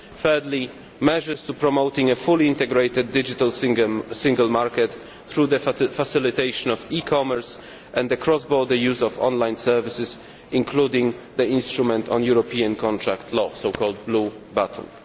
Thirdly, measures to promote a fully integrated digital single market through the facilitation of e commerce and the crossborder use of online services, including the instrument on European contract law, the so called Blue Button'.